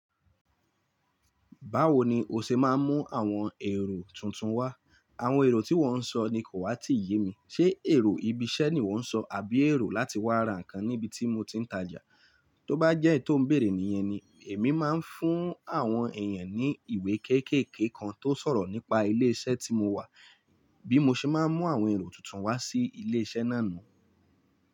Báwo ni o ṣe máa ń mú àwọn èrò tuntun wá? Àwọn èrò tí wọ́n ń sọ ni kò wá tí ì yé mi. Ṣé èrò ibi iṣẹ́ ni ìwọ ń sọ àbí èrò láti wá ra nǹkan ní ibi tí mo ti ń tajà? Tóbá jẹ́ èyí to n béèrè nìyẹn ni, èmi máa ń fún àwọn èèyàn ní ìwé kéékèèké kan tó n sọ̀rọ̀ nípa ilé iṣẹ́ tí mo wà bí mo ṣe máa ń mú àwọn èrò tuntun wá sí ilé iṣẹ́ náà nu.